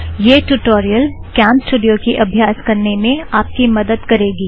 यह tutorial CamStudio की अभ्यास करने में आप की मदद करगी